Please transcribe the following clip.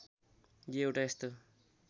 यो एउटा यस्तो